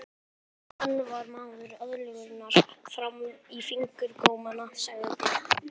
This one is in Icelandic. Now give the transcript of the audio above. Hann var maður aðlögunarinnar fram í fingurgóma, sagði